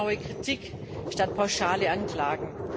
Zielgenaue Kritik statt pauschaler Anklagen.